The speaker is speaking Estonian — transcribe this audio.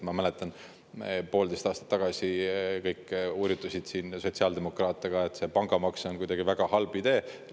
Ma mäletan, et poolteist aastat tagasi kõik hurjutasid siin sotsiaaldemokraate ka, et pangamaks on kuidagi väga halb idee.